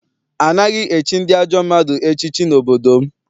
Anaghị echi ndị ajọ mmadụ echiche n'obodo m.